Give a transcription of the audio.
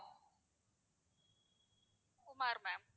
Kumar ma'am